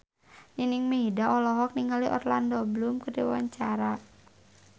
Nining Meida olohok ningali Orlando Bloom keur diwawancara